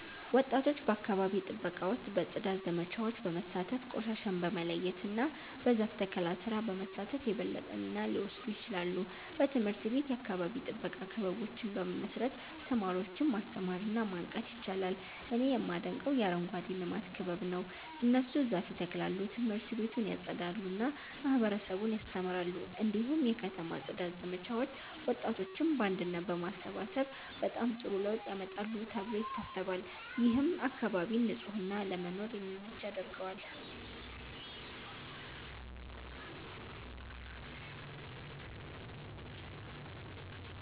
ወጣቶች በአካባቢ ጥበቃ ውስጥ በጽዳት ዘመቻዎች በመሳተፍ፣ ቆሻሻን በመለያየት እና በዛፍ ተከላ ስራ በመሳተፍ የበለጠ ሚና ሊወስዱ ይችላሉ። በትምህርት ቤት የአካባቢ ጥበቃ ክበቦችን በመመስረት ተማሪዎችን ማስተማር እና ማንቃት ይቻላል። እኔ የማደንቀው የአረንጓዴ ልማት ክበብ ነው። እነሱ ዛፍ ይተክላሉ፣ ት/ቤቱን ያጸዳሉ እና ማህበረሰቡን ያስተምራሉ። እንዲሁም የከተማ ጽዳት ዘመቻዎች ወጣቶችን በአንድነት በማሰባሰብ በጣም ጥሩ ለውጥ ያመጣሉ ተብሎ ይታሰባል። ይህም አካባቢን ንጹህ እና ለመኖር የሚመች ያደርገዋል።